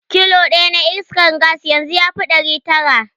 Kilo ɗaya na iskar gas yanzu yafi ɗari tara.